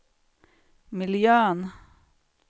miljön